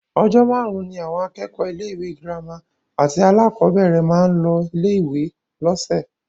Ọjọ́ márùn-ún ni àwọn akẹ́kọ̀ọ́ ilé-ìwé gírámà àti alákọ̀ọ́bẹ̀rẹ̀ máa ń lọ ilé-ìwé lọ́sẹ̀